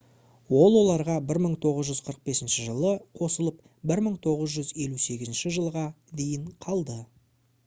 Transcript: ол оларға 1945 жылы қосылып 1958 жылға дейін қалды